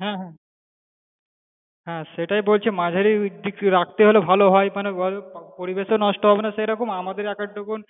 হ্যাঁ হ্যাঁ হ্যাঁ সেটাই বলছি যে মাঝারি দিক রাখতে হলে ভালো হয় বল মানে পরিবেশ ও নষ্ট হবেনা সেইরকম আমাদের এক আধটুকুন